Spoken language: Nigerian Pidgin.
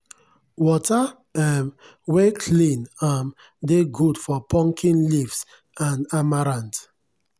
water um wen clean um dey good for pumpkin leaves and amaranth.